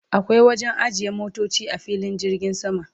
akwai wajen ajiye motoci a filin jirgin sama